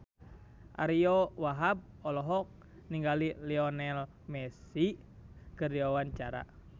Ariyo Wahab olohok ningali Lionel Messi keur diwawancara